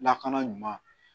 Lakana ɲuman